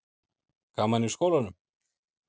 Gaman í skólanum?